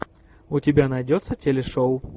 у тебя найдется телешоу